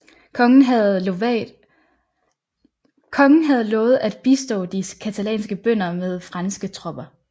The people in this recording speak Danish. Kongen havde lovat at bistå de catalanske bønder med franske tropper